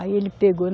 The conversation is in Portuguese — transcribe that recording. Aí ele pegou.